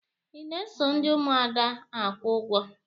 Ị na-eso ndị Ụmụada akwụ ụgwọ?